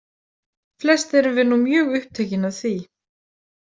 Flest erum við nú mjög upptekin af því.